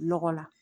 Lɔgɔ la